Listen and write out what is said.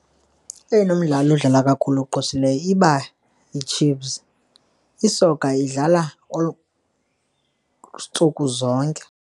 Eyona midlalo idlala kakhulu ogqwesileyo iba yiChiefs, isoka idlala olu ntsuku zonke.